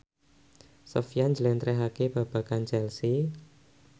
Sofyan njlentrehake babagan Chelsea